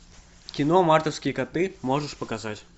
кино мартовские коты можешь показать